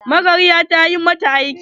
Magaryar ta ƴi mata aiki?